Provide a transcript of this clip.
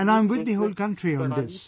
And I am with the whole country on this